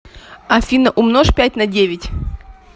афина умножь пять на девять